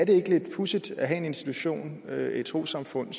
ikke lidt pudsigt at have en institution et et trossamfund